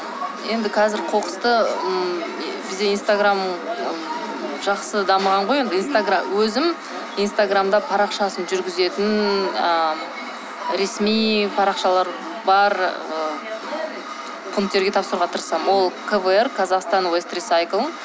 енді қазір қоқысты ммм бізде инстаграм м жақсы дамыған ғой енді өзім инстаграмда парақшасын жүргізетін ы ресми парақшалар бар ы пункттерге тапсыруға тырысамын ол квр казахстан уэстрисайкл